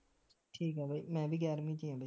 ਠੀਕ ਆ ਬਾਈ ਮੈਂ ਵੀ ਗਿਆਰਵੀਂ ਵਿਚ ਐ ਬਈ